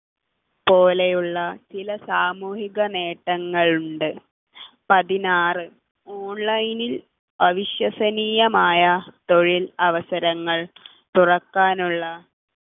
പോലെയുള്ള ചില സാമൂഹിക നേട്ടങ്ങൾ ഉണ്ട് പതിനാറ് online നിൽ അവിശ്വസനീയമായ തൊഴിൽ അവസരങ്ങൾ തുറക്കാനുള്ള